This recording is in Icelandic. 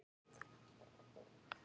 Hvað það var ævintýralegt og hlýtt.